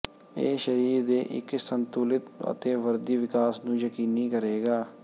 ਇਹ ਸਰੀਰ ਦੇ ਇੱਕ ਸੰਤੁਲਤ ਅਤੇ ਵਰਦੀ ਵਿਕਾਸ ਨੂੰ ਯਕੀਨੀ ਕਰੇਗਾ